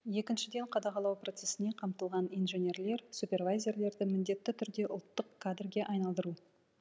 екіншіден қадағалау процесіне қамтылған инженерлер супервайзерлерді міндетті түрде ұлттық кадрге айналдыру